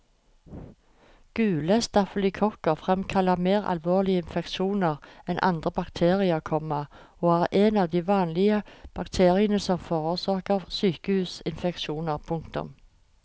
Gule stafylokokker fremkaller mer alvorlige infeksjoner enn andre bakterier, komma og er en av de vanlige bakteriene som forårsaker sykehusinfeksjoner. punktum